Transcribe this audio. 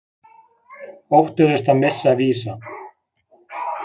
Óttuðust að missa Visa